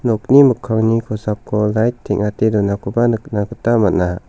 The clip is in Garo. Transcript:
nokni mikkangni kosako light teng·ate donakoba nikna gita man·a.